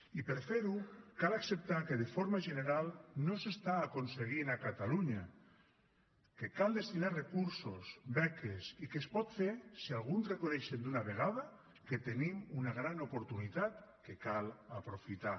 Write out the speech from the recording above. i per fer ho cal acceptar que de forma general no s’està aconseguint a catalunya que cal destinar hi recursos beques i que es pot fer si alguns reconeixen d’una vegada que tenim una gran oportunitat que cal aprofitar